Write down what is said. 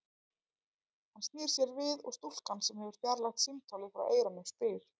Hann snýr sér við, og stúlkan, sem hefur fjarlægt símtólið frá eyranu, spyr